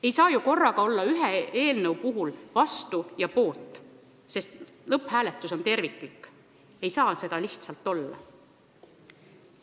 Ei saa ju korraga ühe eelnõu puhul olla vastu ja poolt, sest lõpphääletus on terviklik – lihtsalt ei saa olla.